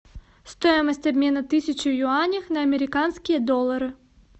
стоимость обмена тысячи юаней на американские доллары